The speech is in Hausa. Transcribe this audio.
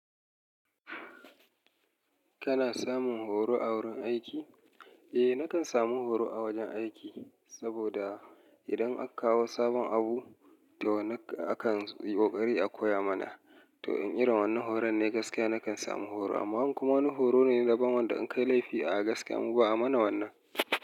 Kana samun horo a wurin aiki? Eh nakan samu horo a wajen aiki, saboda idan aka kawo sabon abu to akan yi ƙoƙari a koya mana. To in irin wannan horon ne gaskiya nakan samu horo, amma wani kuma horo ne daban wanda in kai laifi a gaskiya mu ba a mana wannan.